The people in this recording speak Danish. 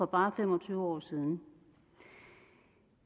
bare fem og tyve år siden